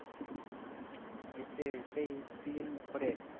এসছে সেই season four এ